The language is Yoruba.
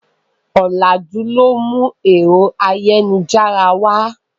Ọ̀làjú ló mú ẹ̀rọ ayélujára wá.